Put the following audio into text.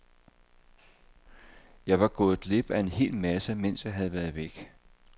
Jeg var gået glip af en hel masse, mens jeg havde været væk.